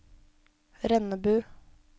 Rennebu